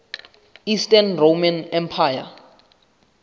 eastern roman empire